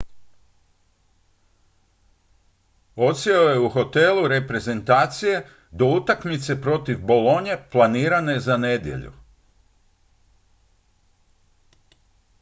odsjeo je u hotelu reprezentacije do utakmice protiv bolonije planirane za nedjelju